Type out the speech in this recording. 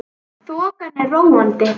Þokan er róandi